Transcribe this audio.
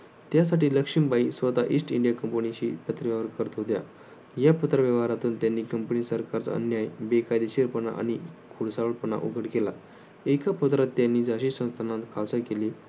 त्यासाठी लक्ष्मीबाई स्वतः east India कंपनीशी पत्रव्यवहार करत होत्या. या पत्रव्यवहारातून त्यांनी कंपनी सरकारचा अन्याय बेकायदेशीरपणा आणि खुळसावटपणा उघड केला. एका पदरात त्यांनी झाशी नात आशा केली.